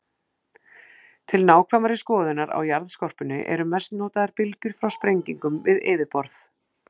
Til nákvæmari skoðunar á jarðskorpunni eru mest notaðar bylgjur frá sprengingum við yfirborð.